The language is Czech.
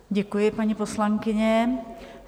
Děkuji, paní poslankyně.